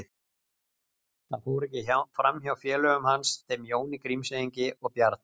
Það fór ekki fram hjá félögum hans, þeim Jóni Grímseyingi og Bjarna